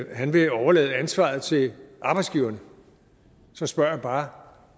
han vil overlade ansvaret til arbejdsgiverne så spørger jeg bare